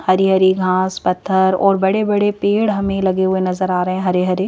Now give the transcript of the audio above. हरी हरी घास पत्थर और बड़े-बड़े पेड़ हमें लगे हुए नजर आ रहे हैं हरे हरे।